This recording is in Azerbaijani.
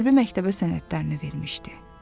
Hərbi məktəbə sənədlərini vermişdi.